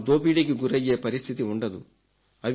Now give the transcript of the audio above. వారు దోపిడీకి గురయ్యే పరిస్థితి ఉండదు